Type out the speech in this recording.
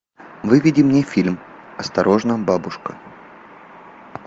выведи мне фильм осторожно бабушка